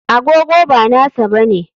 Agogo ba nasa bane.